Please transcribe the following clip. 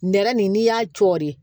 Nɛrɛ nin n'i y'a cori